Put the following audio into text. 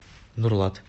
нурлат